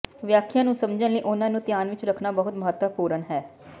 ਵਿਆਖਿਆ ਨੂੰ ਸਮਝਣ ਲਈ ਉਨ੍ਹਾਂ ਨੂੰ ਧਿਆਨ ਵਿੱਚ ਰੱਖਣਾ ਬਹੁਤ ਮਹੱਤਵਪੂਰਨ ਹੈ